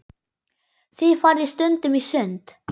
Þið farið stundum í sund.